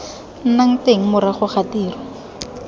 nnang teng morago ga tiro